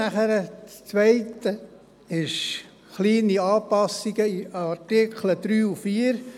Das Zweite sind kleine Anpassungen der Artikel 3 und 4.